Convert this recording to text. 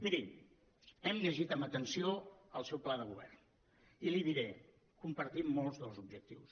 miri hem llegit amb atenció el seu pla de govern i li diré compartim molts dels objectius